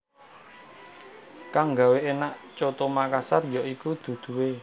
Kang gawé énak coto Makassar ya iku duduhé